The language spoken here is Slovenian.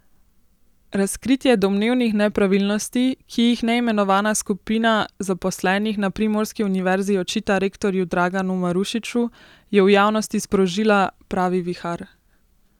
Razkritje domnevnih nepravilnosti, ki jih neimenovana skupina zaposlenih na primorski univerzi očita rektorju Draganu Marušiču, je v javnosti sprožila pravi vihar.